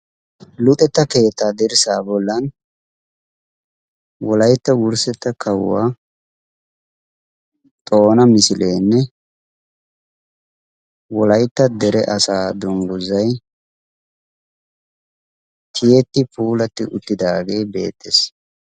Luuxetta keettaa dirssaa bollan wolaytta wurssetta kawuwaa xoona misileenne wolaytta dere asaa dungguzay tiyeti puulatti uttidaagee beettees.